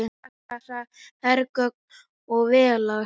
Við blasa hergögn og vélar.